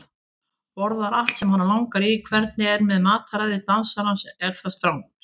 Borðar allt sem hana langar í Hvernig er með mataræði dansarans, er það strangt?